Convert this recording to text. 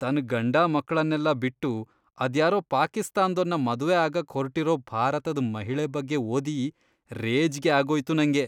ತನ್ ಗಂಡ ಮಕ್ಳನ್ನೆಲ್ಲ ಬಿಟ್ಟು ಅದ್ಯಾರೋ ಪಾಕಿಸ್ತಾನ್ದೋನ್ನ ಮದ್ವೆ ಆಗಕ್ ಹೊರ್ಟಿರೋ ಭಾರತದ್ ಮಹಿಳೆ ಬಗ್ಗೆ ಓದಿ ರೇಜ್ಗೆ ಆಗೋಯ್ತು ನಂಗೆ.